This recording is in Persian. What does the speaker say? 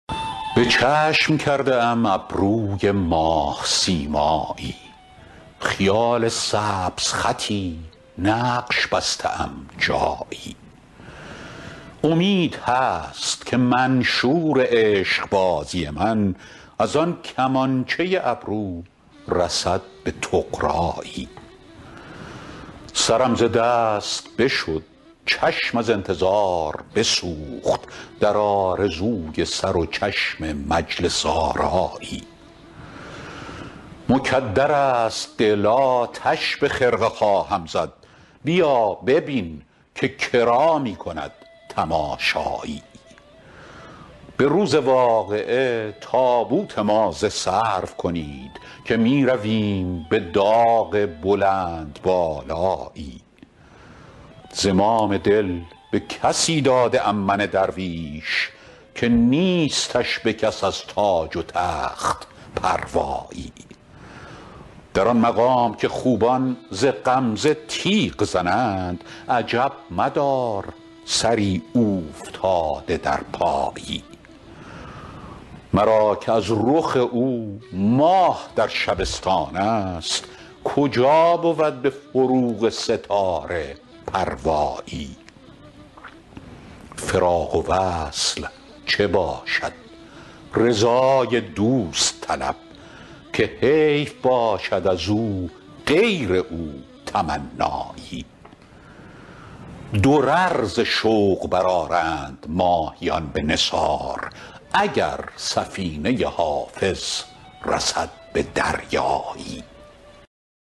به چشم کرده ام ابروی ماه سیمایی خیال سبزخطی نقش بسته ام جایی امید هست که منشور عشق بازی من از آن کمانچه ابرو رسد به طغرایی سرم ز دست بشد چشم از انتظار بسوخت در آرزوی سر و چشم مجلس آرایی مکدر است دل آتش به خرقه خواهم زد بیا ببین که کرا می کند تماشایی به روز واقعه تابوت ما ز سرو کنید که می رویم به داغ بلندبالایی زمام دل به کسی داده ام من درویش که نیستش به کس از تاج و تخت پروایی در آن مقام که خوبان ز غمزه تیغ زنند عجب مدار سری اوفتاده در پایی مرا که از رخ او ماه در شبستان است کجا بود به فروغ ستاره پروایی فراق و وصل چه باشد رضای دوست طلب که حیف باشد از او غیر او تمنایی درر ز شوق برآرند ماهیان به نثار اگر سفینه حافظ رسد به دریایی